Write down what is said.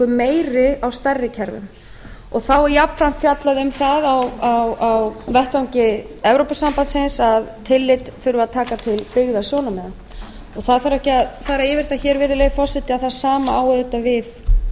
meiri á stærri kerfum þá er jafnframt fjallað um það á vettvangi evrópusambandsins að tillit þurfi að taka til byggða sjónarmiða það þarf ekki að fara yfir það hér virðulegi forseti að það sama á auðvitað við